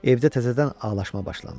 Evdə təzədən ağlaşma başlandı.